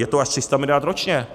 Je to až 300 miliard ročně.